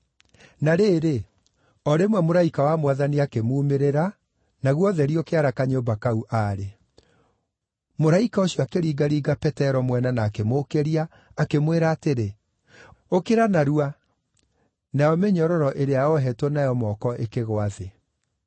Na rĩrĩ, o rĩmwe mũraika wa Mwathani akĩmuumĩrĩra naguo ũtheri ũkĩara kanyũmba kau aarĩ. Mũraika ũcio akĩringaringa Petero mwena na akĩmũũkĩria, akĩmwĩra atĩrĩ, “Ũkĩra narua!” Nayo mĩnyororo ĩrĩa oohetwo nayo moko ĩkĩgũa thĩ.